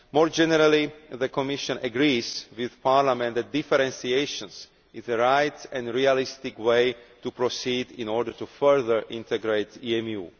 More generally, the Commission agrees with Parliament that differentiation is the right and realistic way to proceed in order to further integrate EMU.